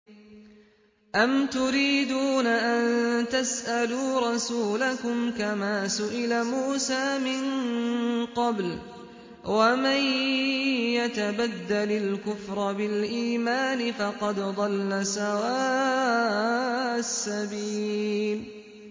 أَمْ تُرِيدُونَ أَن تَسْأَلُوا رَسُولَكُمْ كَمَا سُئِلَ مُوسَىٰ مِن قَبْلُ ۗ وَمَن يَتَبَدَّلِ الْكُفْرَ بِالْإِيمَانِ فَقَدْ ضَلَّ سَوَاءَ السَّبِيلِ